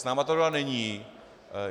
S námi tato dohoda není.